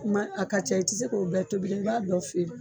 Kuma a ka ca i tɛ se k'o bɛɛ tobili i b'a dɔ feere.